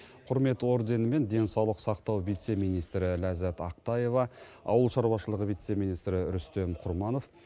құрмет орденімен денсаулық сақтау вице министрі ләззат ақтаева ауыл шаруашылығы вице министрі рүстем құрманов